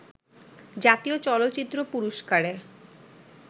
জাতীয় চলচ্চিত্র পুরস্কারে